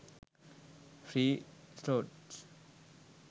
free slots